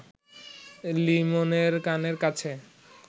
লিমনের কানের কাছে